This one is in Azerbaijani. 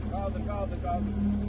Qaldır, qaldır, qaldır.